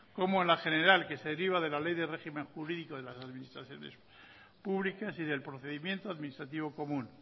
como en la general que se deriva de la ley de régimen jurídico de las administraciones públicas y del procedimiento administrativo común